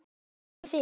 En hvað með þig.